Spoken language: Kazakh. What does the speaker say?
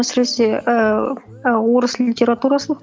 әсіресе ііі орыс литературасын